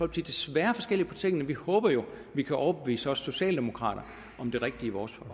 desværre forskelligt på tingene vi håber jo at vi kan overbevise også socialdemokraterne om det rigtige i vores